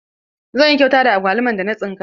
Zan yi kyauta da agwaluman da na tsinka.